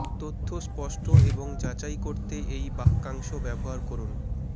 তথ্য স্পষ্ট এবং যাচাই করতে এই বাক্যাংশ ব্যবহার করুন